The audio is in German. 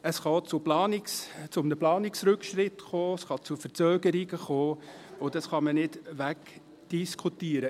Es kann zudem zu einem Planungsrückschritt und zu Verzögerungen führen, das lässt sich nicht wegdiskutieren.